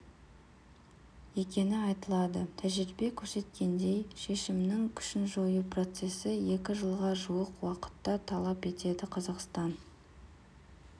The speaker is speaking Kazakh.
екені айтылады тәжірибе көрсеткендей шешімнің күшін жою процесі екі жылға жуық уақытты талап етеді қазақстан